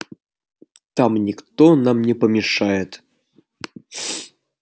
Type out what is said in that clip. там никто нам не помешает